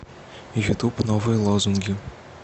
ютуб новые лозунги